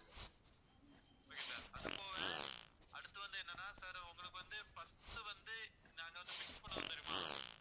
okay sir அது போவ அடுத்து வந்து என்னன்னா sir உங்களுக்கு வந்து first உ வந்து நாங்க வந்து fix பண்ணுவோம் தெரியுமா